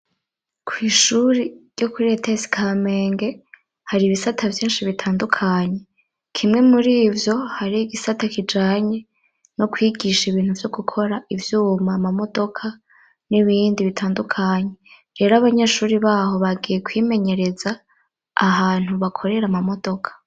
kw'ishuri ryo kuri Etesi Kamenge, hari ibisata vyinshi bitandukanye. Kimwe muri ivyo, hari igisata kijanye no kwigisha ibintu byo gukora ivyuma, amamodoka n'ibindi bitandukanye. Rero abanyeshuri baho bagiye kwimenyereza, ahantu bakorera amamodoka.